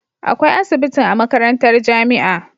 Akwai asibitin a makarantar jamia